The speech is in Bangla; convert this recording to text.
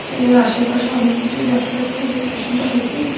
স্টেজ -এর আশেপাশে অনেক কিছুই দেখা যাচ্ছে। আসনা টা সত্যিই খুব সু--